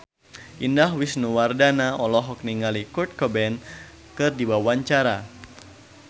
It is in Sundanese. Indah Wisnuwardana olohok ningali Kurt Cobain keur diwawancara